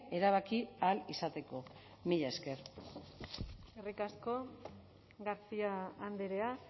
erabaki ahal izateko mila esker eskerrik asko garcia andrea